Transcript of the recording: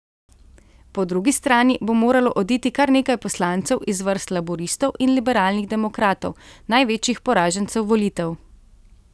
Po drugi strani bo moralo oditi kar nekaj poslancev iz vrst laburistov in liberalnih demokratov, največjih poražencev volitev.